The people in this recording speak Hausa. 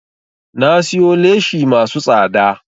Na siyo leshi masu tsada